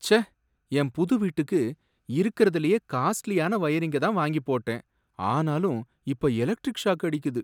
ச்சே! என் புது வீட்டுக்கு இருக்குறதுலயே காஸ்ட்லியான வயரிங்க தான் வாங்கிப் போட்டேன், ஆனாலும் இப்ப எலெக்ட்ரிக் ஷாக் அடிக்குது.